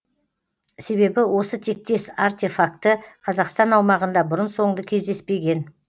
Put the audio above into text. себебі осы тектес артефакті қазақстан аумағында бұрын соңды кездеспеген